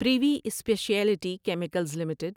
privy speciality chemicals limited